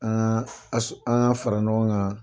An kaa an k'an fara ɲɔgɔn kan